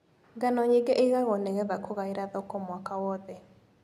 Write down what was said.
Ngano nyingĩ ĩgagwo nĩgetha kũgaĩra thoko mwaka wothe.